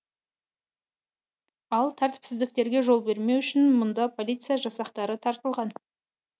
ал тәртіпсіздіктерге жол бермеу үшін мұнда полиция жасақтары тартылған